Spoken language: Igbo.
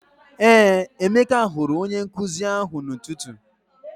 Ee, Emeka hụrụ onye nkụzi ahụ n'ụtụtụ.